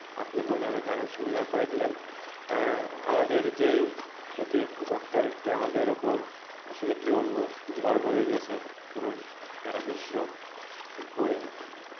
আপনি বলে আমার আরও সুবিধা করে দিলেন আমাদের যেই অতি একটি স্টোর আমাদের উপর আসলে কি বলবো ঝড় বোরে গেছে পুরো সারা বিশ্ব বয়ে